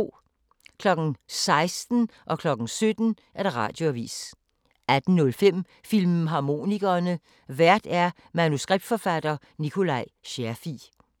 16:00: Radioavisen 17:00: Radioavisen 18:05: Filmharmonikerne: Vært manuskriptforfatter Nikolaj Scherfig